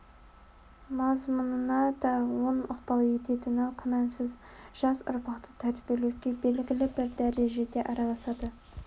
мазмұнына да оң ықпал ететіні күмәнсіз жас ұрпақты тәрбиелеуге белгілі бір дәрежеде араласады